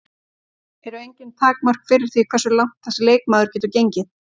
Eru engin takmörk fyrir því hversu langt þessi leikmaður getur gengið?